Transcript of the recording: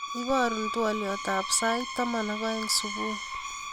Iboru twoliotab sait taman ak aeng subui